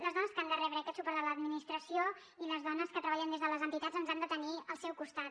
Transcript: les dones que han de rebre aquest suport de l’administració i les dones que treballen des de les entitats ens han de tenir al seu costat